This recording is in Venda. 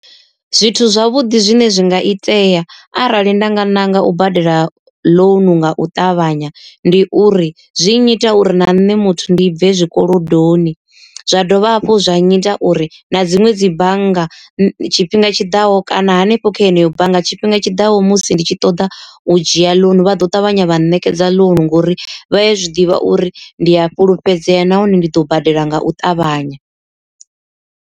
Zwithu zwavhuḓi zwine zwi nga itea arali nda nga ṋanga u badela ḽounu nga u ṱavhanya ndi uri, zwi nnyita uri na nṋe muthu ndi bve zwikolodoni. Zwa dovha hafhu zwa nyita uri na dziṅwe dzi bannga tshifhinga tshiḓaho kana hanefho kha yeneyo bannga tshifhinga tshiḓaho musi ndi tshi ṱoḓa u dzhia ḽounu vha ḓo ṱavhanya vha ṋekedza ḽounu, ngori vha ya zwiḓivha uri ndi a fhulufhedzea nahone ndi ḓo badela nga u ṱavhanya.